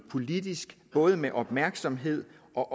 politisk både med opmærksomhed og